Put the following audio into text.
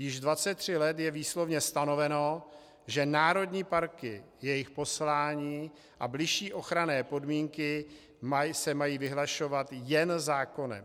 Již 23 let je výslovně stanoveno, že národní parky, jejich poslání a bližší ochranné podmínky se mají vyhlašovat jen zákonem.